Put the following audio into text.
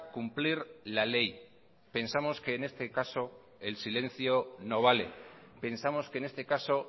cumplir la ley pensamos que en este caso el silencio no vale pensamos que en este caso